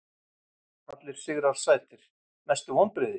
Allir sigrar sætir Mestu vonbrigði?